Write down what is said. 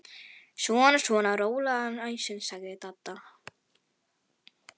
Svona svona, rólegan æsing sagði Dadda.